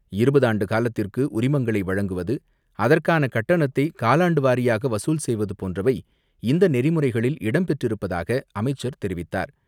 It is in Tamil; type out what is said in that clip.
இருபது ஆண்டுகாலத்திற்கு உரிமங்களை வழங்குவது, அதற்கான கட்டணத்தை காலாண்டுவாரியாக வசூல் செய்வது போன்றவை இந்த நெறிமுறைகளில் இடம் பெற்றிருப்பதாக அமைச்சர் தெரிவித்தார்.